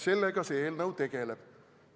Sellega see eelnõu tegeleb.